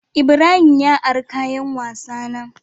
Ibrahim ya ari kayan wasa na.